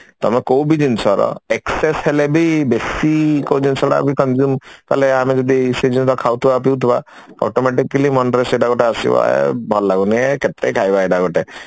tame କୋଉ ବି ଜିନିଷର excess ହେଲେ ବି ବେଶୀ କୋଉ ଜିନିଷଟାବି consume କଲେ ଆମେ ଯଦି ସେଇ ଜିନିଷ ଖାଉଥିବା ପିଉଥିବା automatically ମନରେ ସେଇଟା ଗୋଟେ ଆସିବ ଏ ଭଲ ଲାଗୁନି ଏ କେତେ ଖାଇବା ଏଇଟା ଗୋଟେ